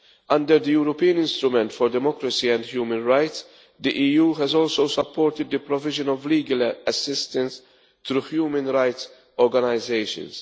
Under the European Instrument for Democracy and Human Rights, the EU has also supported the provision of legal assistance to human rights organisations.